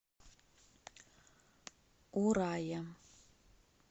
урая